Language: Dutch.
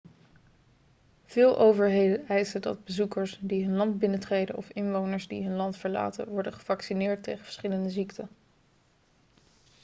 veel overheden eisen dat bezoekers die hun land binnentreden of inwoners die hun land verlaten worden gevaccineerd tegen verschillende ziekten